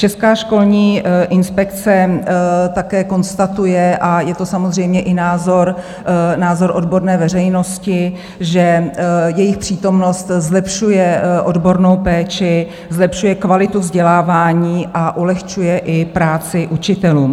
Česká školní inspekce také konstatuje, a je to samozřejmě i názor odborné veřejnosti, že jejich přítomnost zlepšuje odbornou péči, zlepšuje kvalitu vzdělávání a ulehčuje i práci učitelům.